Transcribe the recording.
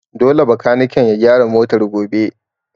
Dole bakaniken ya gyara motar gobe!